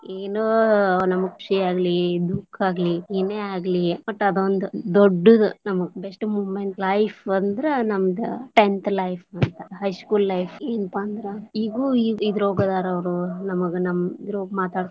ಏನೊ ನಮಗ್ ಖುಷಿಯಾಗಲಿ ದುಃಖ ಆಗ್ಲಿ ಏನೆ ಆಗ್ಲಿ ವಟ್ಟ ಅದ ಒಂದ ದೊಡ್ಡದು ನಮಗ best moment life ಅಂದ್ರ ನಮದ tenth life high school life ಏನಪಾ ಅಂದ್ರ ಇಗೂ ಇದ್ರೊಳಗ ಅದಾರ ಅವರು ನಮಗ ನಮ್ಮ ಇದ್ರೋಗ ಮಾತಾಡ್ತೇವಿ.